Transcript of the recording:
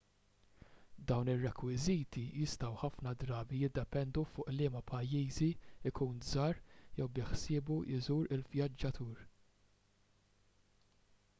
dawn ir-rekwiżiti jistgħu ħafna drabi jiddependu fuq liema pajjiżi jkun żar jew biħsiebu jżur il-vjaġġatur